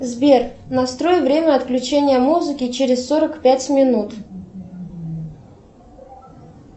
сбер настрой время отключения музыки через сорок пять минут